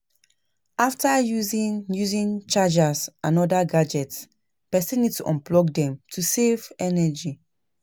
After using using chargers and oda gadgets, person need to unplug them to fit save energy